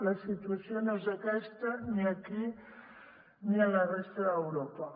la situació no és aquesta ni aquí ni a la resta d’europa